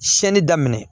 Siyɛnni daminɛ